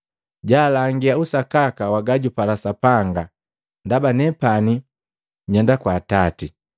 jalangia usakaka wa gajupala Sapanga ndaba nepani nyenda kwa Atati.